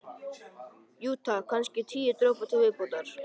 Jú, takk, kannski tíu dropa til viðbótar.